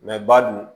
ba dun